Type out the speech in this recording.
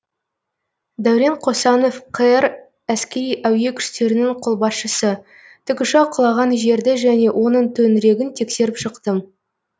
дәурен қосанов қр әскери әуе күштерінің қолбасшысы тікұшақ құлаған жерді және оның төңірегін тексеріп шықтым